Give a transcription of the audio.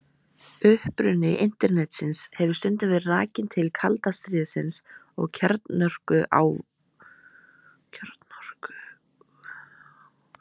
Uppruni Internetsins hefur stundum verið rakinn til kalda stríðsins og kjarnorkuvárinnar.